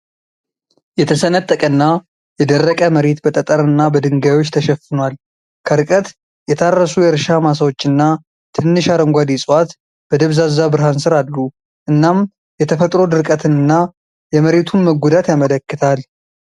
የተሰነጠቀና የደረቀ መሬት በጠጠርና በድንጋዮች ተሸፍኗል። ከርቀት የታረሱ የእርሻ ማሳዎችና ትንሽ አረንጓዴ ዕፅዋት በደብዛዛ ብርሃን ስር አሉ፣ እናም የተፈጥሮ ድርቀትንና የመሬቱን መጎዳት ያመለክታል።